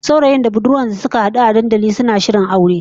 Saurayin da budurwar da suka hadu a dandalin garin, suna shirin yin aure